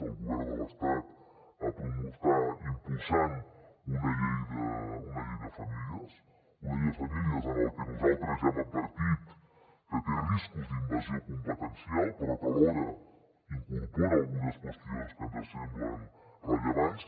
el govern de l’estat està impulsant una llei de famílies una llei de famílies que nosaltres ja hem advertit que té riscos d’invasió competencial però que alhora incorpora algunes qüestions que ens semblen rellevants